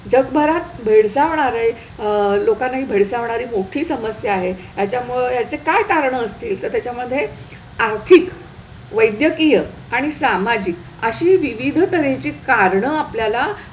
जगभरात भेडसवणारे अह लोकांना ही भेडसावणारी मोठी समस्या आहे ह्याच्यामुळे ह्याची काय कारणं असतील, तर त्याच्यामधे आर्थिक, वैद्यकीय आणि सामाजिक अशी विविध तऱ्हेची कारणं आपल्याला,